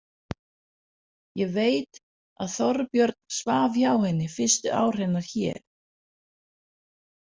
Ég veit að Þorbjörn svaf hjá henni fyrstu ár hennar hér.